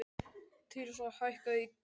Tirsa, hækkaðu í græjunum.